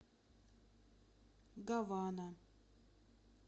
гавана